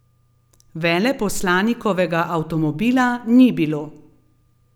Veleposlanikovega avtomobila ni bilo.